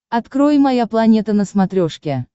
открой моя планета на смотрешке